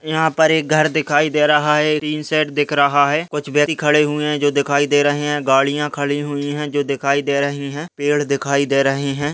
यहाँ पर एक घर दिखाई दे रहा है टीन शेड दिख रहा है कुछ व्यक्ति खड़े हुए है जो दिखाई दे रहे है गाड़ियाँ खड़ी हुई है जो दिखाई दे रही है पेड़ दिखाई दे रहे हैं।